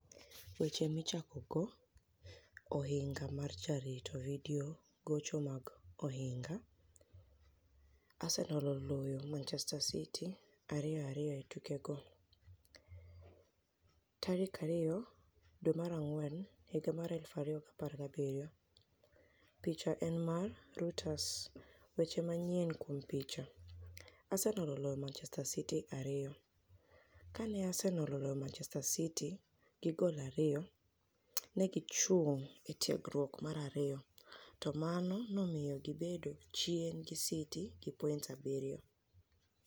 Weche Michakogo Ohiniga mar Jarito Vidio Gocho mag Ohiniga mar Jarito Vidio Gocho mag Ohiniga mar Jarito. Arsenial oloyo Manichester City 2-2 e tukego. 2 April 2017 Picha eni mar, Reuters Weche maniyieni kuom picha. Arsenial oloyo Manichester City ariyo. Kani e Arsenial oloyo Manichester City gi goli ariyo, ni e gichunig ' e tiegruok mar ariyo, to mano nomiyo gibedo chieni gi City gi poinits abiriyo.